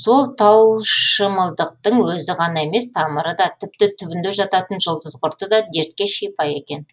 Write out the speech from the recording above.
сол таушымылдықтың өзі ғана емес тамыры да тіпті түбінде жататын жұлдызқұрты да дертке шипа екен